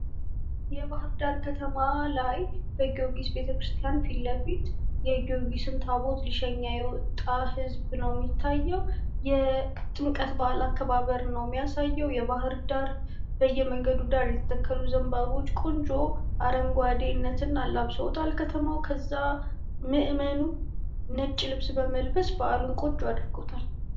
የባህርዳር ከተማ ላይ በጊዎርጊስ ቤተክርስቲያን ፊት ለፊት ፤ የጊዎርጊስን ታቦት ሊሸኝ የወጣ ህዝብ ነው የሚታየው ፤ የጥምቀት በአልን አከባበር ነው የሚያሳየው ፤ የባህርዳር በየመንገዱ ዳር የተተከሉ ዘንባባዎች ቆንጆ አረንጓዴነትን አላብሰዉታል ፤ ከዛ ምእመኑ ነጭ ልብስ በመልበስ በአሉን ቆንጆ አድርጎታል።